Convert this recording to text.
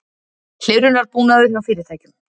Hlerunarbúnaður hjá fyrirtækjum